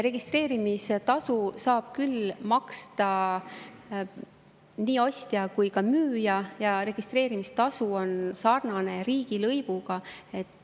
Registreerimistasu saab maksta nii ostja kui ka müüja ja registreerimistasu on sarnane riigilõivuga.